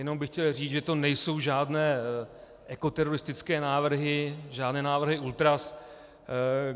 Jenom bych chtěl říct, že to nejsou žádné teroristické návrhy, žádné návrhy ultras.